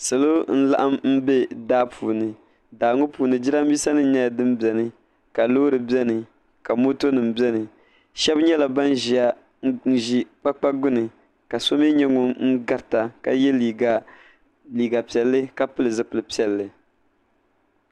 Salo n laɣim bɛ daa puuni Daa ŋo puuni jiranbiisa nim nyɛla din biɛni ka loori biɛni ka moto nim biɛni shab nyɛla ban ʒiya n ku ʒi kpakpa gbuni ka so mii nyɛ ŋun garita ka yɛ liiga piɛlli ka pili zipili piɛlli